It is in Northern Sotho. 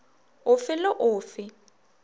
o fe le o fe